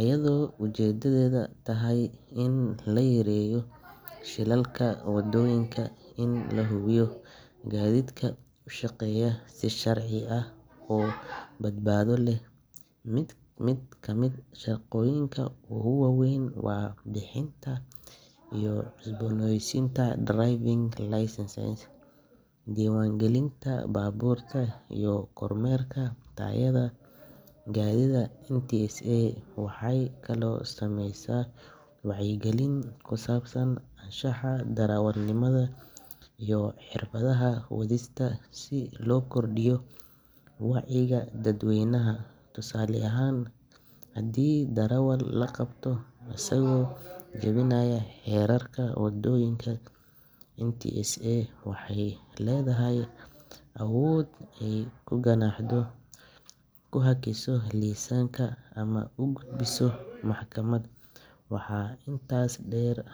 iyadoo ujeeddadeedu tahay in la yareeyo shilalka waddooyinka iyo in la hubiyo in gaadiidku u shaqeeyo si sharci ah oo badbaado leh. Mid ka mid ah shaqooyinkeeda ugu waaweyn waa bixinta iyo cusboonaysiinta driving licenses, diiwaangelinta baabuurta, iyo kormeerka tayada gaadiidka. NTSA waxay kaloo samaysaa wacyigelin ku saabsan anshaxa darawalnimada iyo xirfadaha wadista si loo kordhiyo wacyiga dadweynaha. Tusaale ahaan, haddii darawal la qabto isagoo jabinaya xeerarka waddooyinka, NTSA waxay leedahay awood ay ku ganaaxdo, ku hakiso liisanka, ama u gudbiso maxkamad. Waxaa intaas dheer.